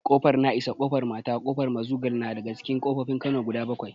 Ƙofar na'isa, ƙofar mata, ƙofar mazugal na daga cikin ƙofofin kano guda bakwai